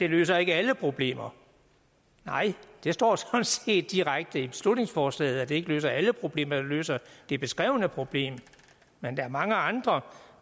løser alle problemer nej det står sådan set direkte i beslutningsforslaget at det ikke løser alle problemer det løser det beskrevne problem men der er mange andre